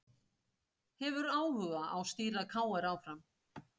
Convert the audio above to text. Hefur áhuga á stýra KR áfram